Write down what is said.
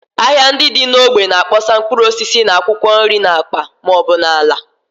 Ahịa ndị dị n’ógbè na-akpọsa mkpụrụ osisi na akwụkwọ nri n’akpa ma ọ bụ n’ala